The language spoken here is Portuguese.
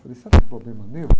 Falei, será que é problema meu?